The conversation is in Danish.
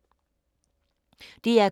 DR K